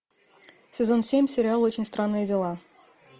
сезон семь сериал очень странные дела